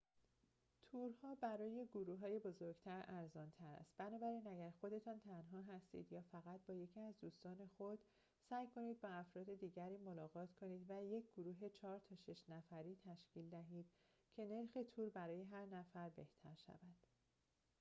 تورها برای گروههای بزرگتر ارزان تر است بنابراین اگر خودتان تنها هستید یا فقط با یکی از دوستان خود سعی کنید با افراد دیگری ملاقات کنید و یک گروه چهار تا شش نفری تشکیل دهید که نرخ تور برای هر نفر بهتر شود